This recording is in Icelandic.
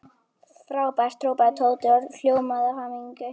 Frábært hrópaði Tóti og ljómaði af hamingju.